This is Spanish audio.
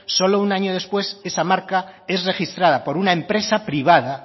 solo un año después esa marca es registrada por una empresa privada